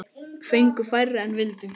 Fengu færri en vildu.